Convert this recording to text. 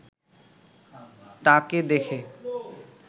তাঁকে দেখে